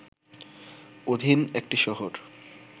অধীন একটি শহর